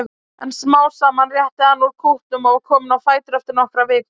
En smám saman rétti hann úr kútnum og var kominn á fætur eftir nokkrar vikur.